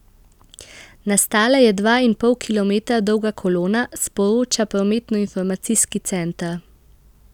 Nastala je dva in pol kilometra dolga kolona, sporoča prometnoinformacijski center.